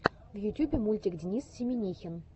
в ютюбе мультик денис семинихин